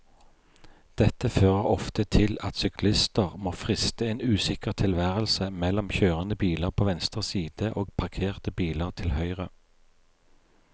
Dette fører ofte til at syklister må friste en usikker tilværelse mellom kjørende biler på venstre side og parkerte biler til høyre.